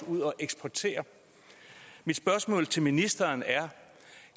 ud at eksportere mit spørgsmål til ministeren er